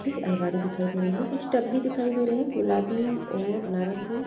की अलमारी दिखाई दे रही है। कुछ टब भी दिखाई दे रहे हैं गुलाबी और नारंगी।